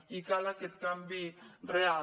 i cal aquest canvi real